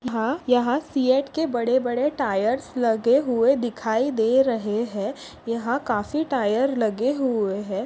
हा यहा सियेट के बड़े बड़े टायर्स लगे हुए दिखाई दे रहे है। यहा काफी टायर लगे हुए है।